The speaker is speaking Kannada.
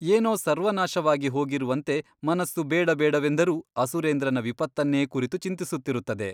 ಏನೋ ಸರ್ವನಾಶವಾಗಿಹೋಗಿರುವಂತೆ ಮನಸ್ಸು ಬೇಡಬೇಡವೆಂದರೂ ಅಸುರೇಂದ್ರನ ವಿಪತ್ತನ್ನೇ ಕುರಿತು ಚಿಂತಿಸುತ್ತಿರುತ್ತದೆ.